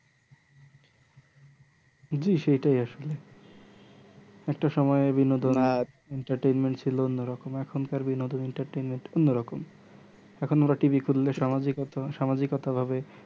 জি সেটাই আসলে একটা সুময় বিনোদন আর entertenment ছিলো অন্য রকম আর এখনকার বিনোদন আর entertenment অন্য রকম এখন ওরা TV খুললে সামাজিক সামাজিকতাভাবে